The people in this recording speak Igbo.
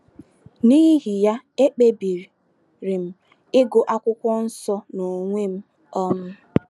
N’ihi ya, ekpebiri m ịgụ akwụkwọ nsọ n’onwe m. um